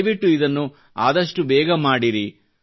ದಯವಿಟ್ಟು ಇದನ್ನು ಆದಷ್ಟು ಬೇಗ ಮಾಡಿರಿ